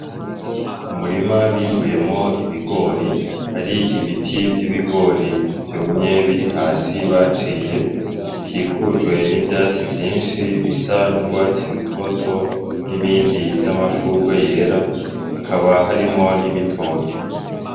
Umurima bimbuyemwo ibigori hari ibiti vy’ibigori vyumye biri hasi baciye ukikujwe n’ivyatsi vyinshi bisa n’urwatsi rutoto , n’ibindi vy’amashurwe yera hakaba harimwo n’ibitoke.